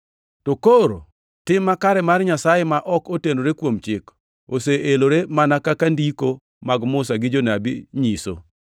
To koro tim makare mar Nyasaye ma ok otenore kuom chik, oseelore, mana kaka Ndiko mag Musa gi Jonabi nyiso.